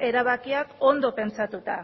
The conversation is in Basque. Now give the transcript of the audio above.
erabakiak ondo pentsatuta